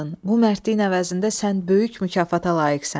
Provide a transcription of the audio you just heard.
Bu mərdliyin əvəzində sən böyük mükafata layiqsən."